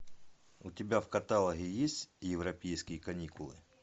у тебя в каталоге есть европейские каникулы